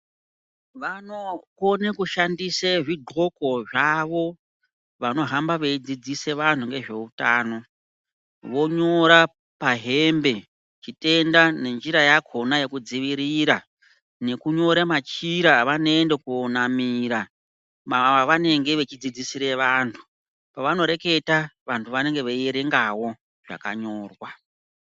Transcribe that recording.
Vanokone kushandise zvigqoko zvavo vanohamba veidzidzise vantu ngezveutano. Vonyora pahembe chitenda nenjira yakhona yekudzivirira nekunyora machira avanoenda koonamira pavanenge vechidzidzisire vantu. Pavanoreketa vantu vanenge veierengawo zvakanyorwa.